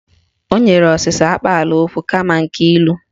O nyere ọsịsa akpaalaokwu kama nke ilu